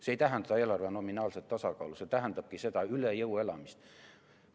See ei tähenda eelarve nominaalset tasakaalu, see tähendabki seda üle jõu elamist.